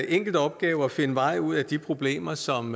enkel opgave at finde vej ud af de problemer som